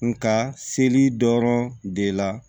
Nga seli dɔrɔn de la